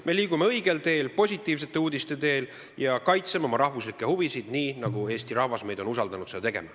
Me liigume õigel teel, positiivsete uudiste teel ja kaitseme oma rahvuslikke huvisid nii, nagu Eesti rahvas on meid usaldanud seda tegema.